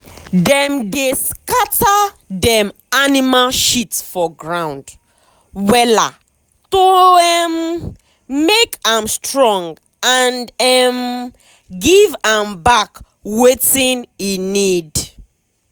dem dey scatter dem animal shit for ground wella to um make am strong and um give am back wetin e need.